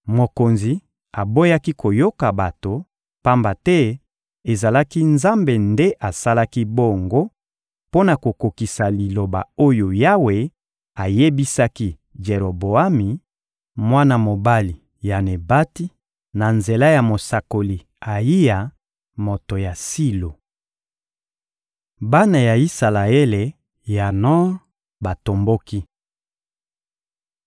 Mokonzi aboyaki koyoka bato, pamba te ezalaki Nzambe nde asalaki bongo mpo na kokokisa Liloba oyo Yawe ayebisaki Jeroboami, mwana mobali ya Nebati, na nzela ya mosakoli Ayiya, moto ya Silo. Bana ya Isalaele ya Nor batomboki (1Ba 12.16-19)